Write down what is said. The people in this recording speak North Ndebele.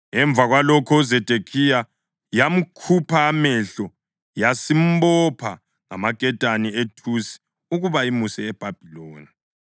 Emva kwalokho uZedekhiya yamkhupha amehlo yasimbopha ngamaketane ethusi ukuba imuse eBhabhiloni.